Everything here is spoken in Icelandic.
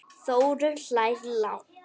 Þórunn hlær lágt.